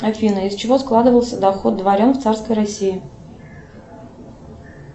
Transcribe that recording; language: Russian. афина из чего складывался доход дворян в царской россии